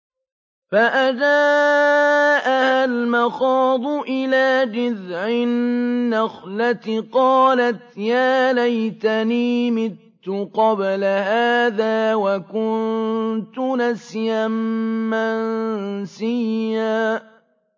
فَأَجَاءَهَا الْمَخَاضُ إِلَىٰ جِذْعِ النَّخْلَةِ قَالَتْ يَا لَيْتَنِي مِتُّ قَبْلَ هَٰذَا وَكُنتُ نَسْيًا مَّنسِيًّا